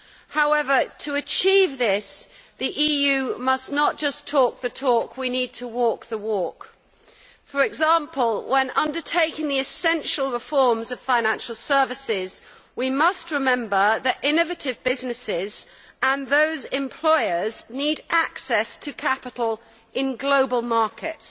However, to achieve this, the EU must not just talk the talk we need to walk the walk. For example, when undertaking the essential reforms of financial services, we must remember that innovative businesses and those employers need access to capital in global markets.